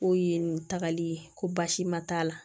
K'o ye nin tagali ye ko basi ma t'a la